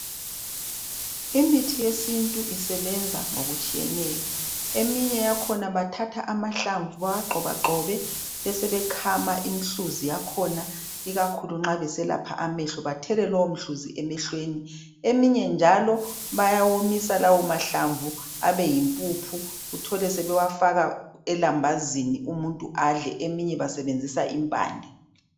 Imithi yesintu isebenza ngokutshiyeneyo abanye bathatha amahlamvu bewagxoba gxobe besebe khama umhluzi wakhona ikakhulu nxa beselapha amehlo bethele lomhluzi emehlweni eminye njalo bayawomisa lawo mahlamvu abeyimpuphu uthole sebefaka elambazini umuntu adle abanye basezenzisa impande